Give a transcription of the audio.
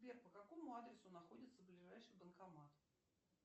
сбер по какому адресу находится ближайший банкомат